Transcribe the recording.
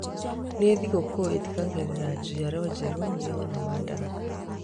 Nĩ thigũkũ ĩtigagĩrĩra njiarũa njerũ nĩ yona madaraka.